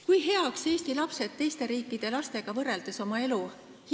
Kui heaks hindavad Eesti lapsed oma elu teiste riikide lastega võrreldes?